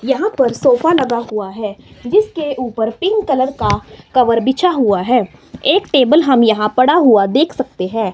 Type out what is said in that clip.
यहां पर सोफा लगा हुआ है जिसके ऊपर पिंक कलर का कवर बिछा हुआ है एक टेबल हम यहां पड़ा हुआ देख सकते हैं।